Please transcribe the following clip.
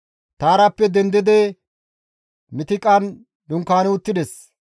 Taarappe dendidi Mitiqan dunkaani uttides.